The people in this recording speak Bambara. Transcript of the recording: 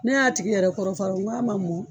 Ne y'a tigi yɛrɛ kɔrɔ f'a rɔ nka ma mɔ